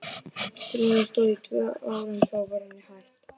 Tilraunin stóð í tvö ár en þá var henni hætt.